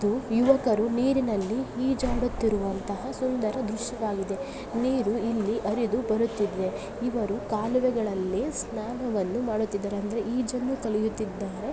ಇದು ಯುವಕರು ನೀರಿನಲ್ಲಿ ಈಜಾಡುತಿರುವಂತಹ ಸುಂದರ ದೃಶ್ಯವಾಗಿದೆ ನೀರು ಇಲ್ಲಿ ಹರಿದು ಬರುತ್ತಿದೆ ಇವರು ಕಾಲುವೆಗಳಲ್ಲಿ ಸ್ನಾನವನ್ನು ಮಾಡುತ್ತಿದ್ದಾರೆ ಅಂದರೆ ಈಜನ್ನು ಕಲಿಯುತ್ತಿದ್ದಾರೆ.